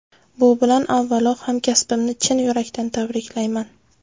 Bu bilan avvalo hamkasbimni chin yurakdan tabriklayman.